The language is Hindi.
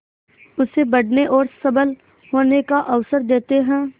उसे बढ़ने और सबल होने का अवसर देते हैं